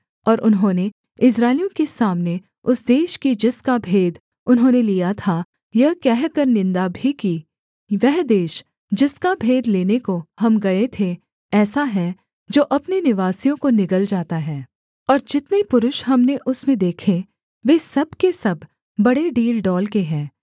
और उन्होंने इस्राएलियों के सामने उस देश की जिसका भेद उन्होंने लिया था यह कहकर निन्दा भी की वह देश जिसका भेद लेने को हम गये थे ऐसा है जो अपने निवासियों को निगल जाता है और जितने पुरुष हमने उसमें देखे वे सब के सब बड़े डीलडौल के हैं